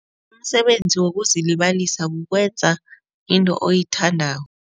Umsebenzi wokuzilibasa kukwenza into oyithandako.